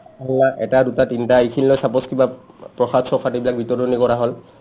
এটা দুটা তিনটা এইখিনিলৈ suppose কিবা প্ৰসাদ-চসাদ এইবিলাক বিতৰণি কৰা হ'ল